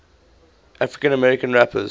african american rappers